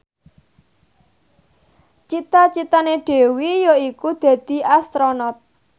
cita citane Dewi yaiku dadi Astronot